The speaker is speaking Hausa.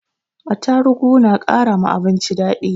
Atarugu na kara ma abinci daɗi